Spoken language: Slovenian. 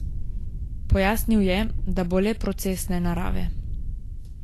Pojasnil je, da bo le procesne narave.